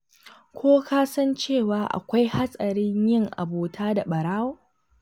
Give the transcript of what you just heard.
Ko ka san cewa akwai hatsari yin abota da ɓarawo?